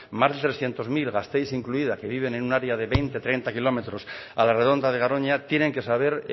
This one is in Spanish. más de trescientos mil gasteiz incluida que viven en una área de veinte treinta kilómetros a la redonda de garoña tienen que saber